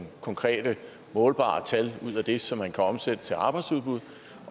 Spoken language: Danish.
konkrete målbare tal ud af det som man kan omsætte til arbejdsudbud